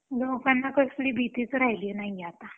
काय लोकांना कसली भीतीच राहिली नाहीये आता